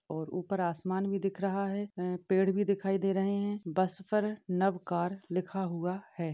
और ऊपर आसमान भी दिख रहा हैं पेड़ भी दिखाई दे रहे है बस पर नवकार लिखा हुआ हैं।